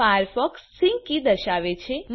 Firefox sync key દર્શાવે છે